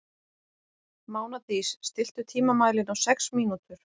Mánadís, stilltu tímamælinn á sex mínútur.